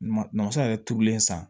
N'o san yɛrɛ turulen san